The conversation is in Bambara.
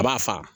A b'a fa